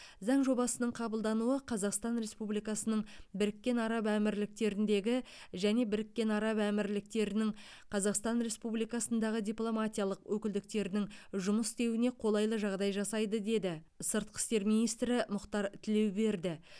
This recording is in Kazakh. заң жобасының қабылдануы қазақстан республикасының біріккен араб әмірліктеріндегі және біріккен араб әмірліктерінің қазақстан республикасындағы дипломатиялық өкілдіктерінің жұмыс істеуіне қолайлы жағдай жасайды деді сыртқы істер министрі мұхтар тілеуберді